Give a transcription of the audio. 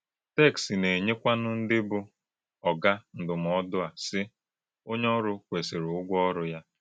Téksì na-enyekwànụ ndí bụ́ ọ̀gà ndụ́mòdù a, sì: “Ònyé ọ́rụ́ kwesìrì ùgwó ọ́rụ́ ya.”